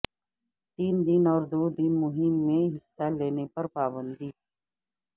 تین دن اور دو دن مہم میں حصہ لینے پر پابندی